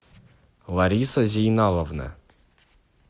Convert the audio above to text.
лариса зейналовна